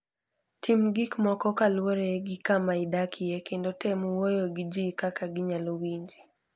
Tim gik moko kaluwore gi kama idakie, kendo tem wuoyo gi ji kaka ginyalo winji.